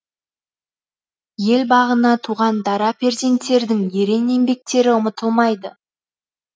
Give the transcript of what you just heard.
ел бағына туған дара перзенттердің ерен еңбектері ұмытылмайды